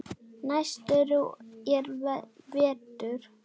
Næstur er Vetur.